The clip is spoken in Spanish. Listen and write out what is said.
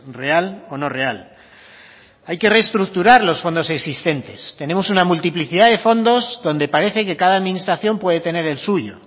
real o no real hay que reestructurar los fondos existentes tenemos una multiplicidad de fondos donde parece que cada administración puede tener el suyo